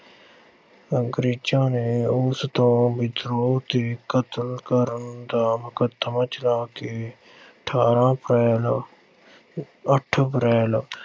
ਅੰਗਰੇਜ਼ਾਂ ਨੇ ਉਸ ਤੋਂ ਵਿਦਰੋਹ ਤੇ ਕਤਲ ਕਰਨ ਦਾ ਮੁਕੱਦਮਾ ਚਲਾ ਕੇ ਅਠ੍ਹਾਰਾਂ ਅਪ੍ਰੈਲ, ਅੱਠ ਅਪ੍ਰੈਲ